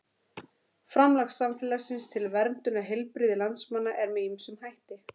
Framlag samfélagsins til verndunar heilbrigði landsmanna er með ýmsum hætti.